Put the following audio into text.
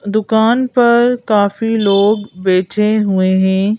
दुकान पर काफी लोग बैठे हुए हैं।